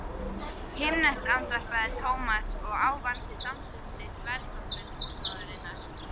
Himneskt andvarpaði Thomas og ávann sér samstundis velþóknun húsmóðurinnar.